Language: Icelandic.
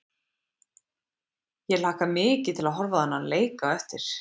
Ég hlakka mikið til að horfa á þennan leik á eftir.